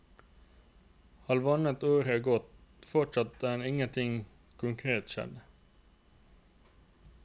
Halvannet år er gått, og fortsatt er ingenting konkret skjedd.